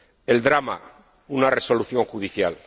el drama una resolución judicial